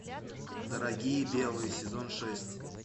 дорогие белые сезон шесть